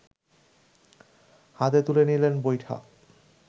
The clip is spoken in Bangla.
হাতে তুলে নিলেন বৈঠা